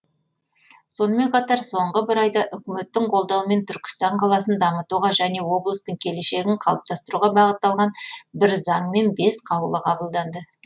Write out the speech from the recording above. сонымен қатар соңғы бір айда үкіметтің қолдауымен түркістан қаласын дамытуға және облыстың келешегін қалыптастыруға бағытталған бір заң мен бес қаулы қабылданды